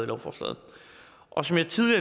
lovforslaget og som jeg